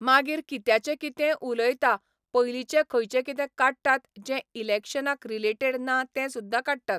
मागीर कित्याचें कितेंय उलयतात पयलींचें खंयचें कितें काडटात जें इलॅक्शनाक रिलेटेड ना तें सुद्दा काडटात.